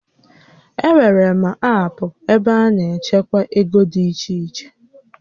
E nwèrè aapụ ebe a na-echekwa ego dị iche iche